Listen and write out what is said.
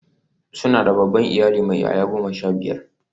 Suna da babban iyali mai 'ya'ya goma sha biyar.